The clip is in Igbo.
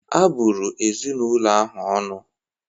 Abụrụ ezinụlọ ahụ ọnụ